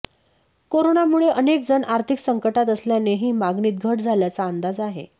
कोरोनामुळे अनेक जण आर्थिक संकटात असल्यानेही मागणीत घट झाल्याचा अंदाज आहे